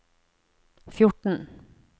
fjorten